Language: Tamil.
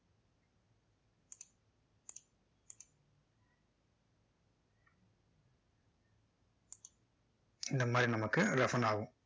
இந்த மாதிரி நமக்கு roughen ஆகும்